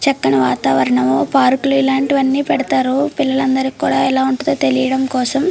చక్కని వాతావరణము పార్క్ లో ఇలాంటివన్నీ పెడతారు పిల్లలందరికీ కూడా ఎలా ఉంటాడో తెలియడం కోసం.